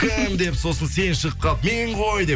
кім деп сосын сен шығып қалып мен ғой деп